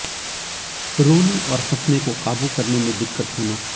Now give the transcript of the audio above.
रोने और हंसने को क़ाबू करने में दिक्कत होना